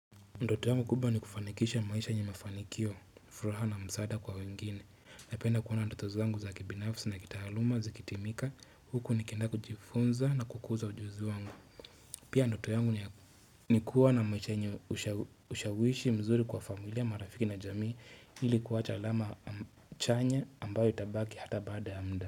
Ndoto yangu kubwa ni kufanikisha maisha yenye mafanikio, furaha na msaada kwa wengine. Napenda kuona ndoto zangu za kibinafsi na kitaaluma, zikitimika, huku nikienda kujifunza na kukuza ujuzi wangu. Pia ndoto yangu ni kuwa na maisha yenye ushawishi mzuri kwa familia marafiki na jamii ili kuwacha alama chanya ambayo itabaki hata baada ya mda.